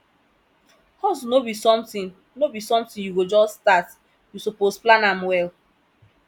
hustle no be sometin no be sometin you go just start you suppose plan am well